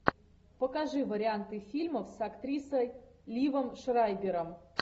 покажи варианты фильмов с актрисой ливом шрайбером